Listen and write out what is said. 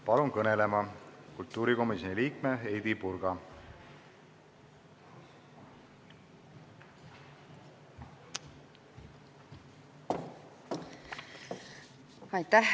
Palun kõnelema kultuurikomisjoni liikme Heidy Purga!